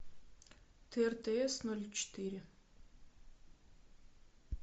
тр тс ноль четыре